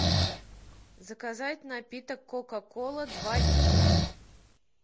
заказать напиток кока кола два литра